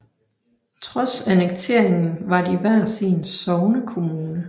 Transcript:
Trods annekteringen var de hver sin sognekommune